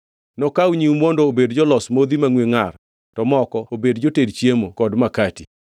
Nokaw nyiwu mondo obed jolos modhi mangʼwe ngʼar to moko obed joted chiemo kod makati.